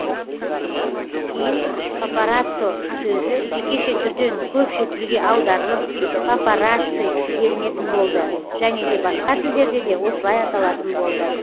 кейін папараццо сөзі жекеше түрден көпше түрге аударылып папарацци делінетін болды және де басқа тілдерде де осылай аталатын болды